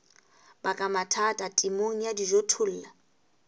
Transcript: baka mathata temong ya dijothollo